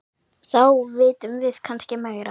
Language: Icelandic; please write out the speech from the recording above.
Þá vitum við kannski meira.